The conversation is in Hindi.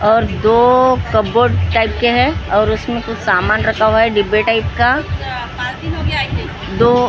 और दो कबोर्ड टाइप के हैं और उसमें कोई सामान रखा होगा है डिब्बे टाइप का दो --